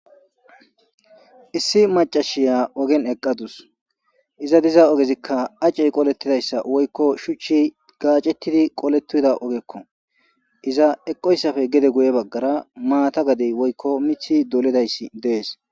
issi macashiya ogen eqadus iza diza ogezikka acey qolettidayssa woykko shuchchi gaacettidi qoletida ogekko iza eqoyssafe gede guye baggara maata gadey woykko mithi doledayssi dees